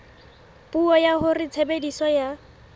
puo ya hore tshebediso ya